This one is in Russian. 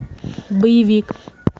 боевик